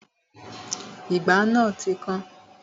Ìgbá náà ti kan